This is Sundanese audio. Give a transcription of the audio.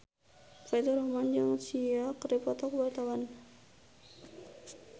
Faturrahman jeung Sia keur dipoto ku wartawan